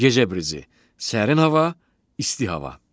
Gecə brizi: sərin hava, isti hava.